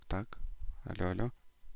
так алло алло